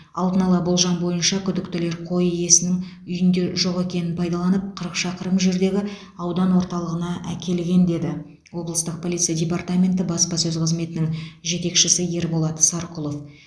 алдын ала болжам бойынша күдіктілер қой иесінің үйінде жоқ екенін пайдаланып қырық шақырым жердегі аудан орталығына әкелген деді облыстық полиция департаменті баспасөз қызметінің жетекшісі ерболат сарқұлов